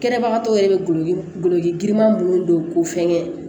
Kɛnɛbagatɔ yɛrɛ bɛ golo guloji girinman minnu don k'u fɛn kɛ